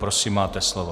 Prosím, máte slovo.